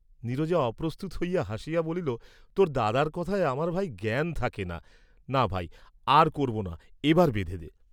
নীরজা অপ্রস্তুত হইয়া হাসিয়া বলিল তোর দাদার কথায় আমার ভাই জ্ঞান থাকে না; না, ভাই, আর করব না, এবার বেঁধে দে।